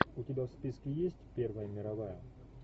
у тебя в списке есть первая мировая